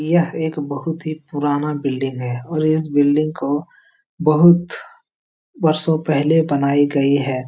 यह एक बहुत ही पुराना बिल्डिंग और इस बिल्डिंग को बहुत वर्षों पहले बनाई गई है ।